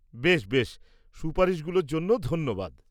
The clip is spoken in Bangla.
বেশ বেশ, সুপারিশগুলোর জন্য ধন্যবাদ!